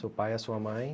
Seu pai, a sua mãe.